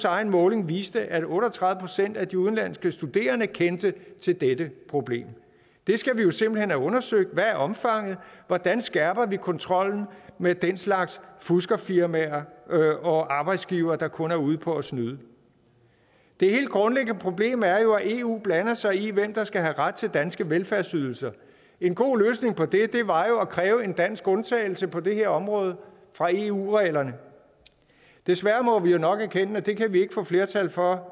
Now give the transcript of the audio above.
egen måling viste at otte og tredive procent af de udenlandske studerende kendte til dette problem det skal vi jo simpelt hen have undersøgt hvad er omfanget hvordan skærper vi kontrollen med den slags fuskerfirmaer og arbejdsgivere der kun er ude på at snyde det helt grundlæggende problem er jo at eu blander sig i hvem der skal have ret til danske velfærdsydelser en god løsning på det var jo at kræve en dansk undtagelse på det her område fra eu reglerne desværre må vi jo nok erkende at det kan vi ikke få flertal for